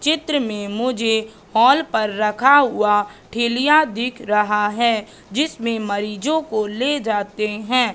चित्र में मुझे हॉल पर रखा हुआ ठैलियां दिख रहा है जिसमें मरीजों को ले जाते हैं।